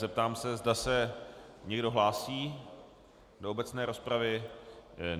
Zeptám se, zda se někdo hlásí do obecné rozpravy.